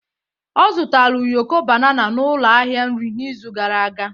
Ọ zụtara ụyọkọ banana n'ụlọ ahịa nri n'izu gara aga.